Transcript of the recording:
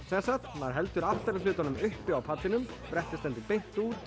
maður heldur aftari hlutanum uppi á pallinum brettið stendur beint út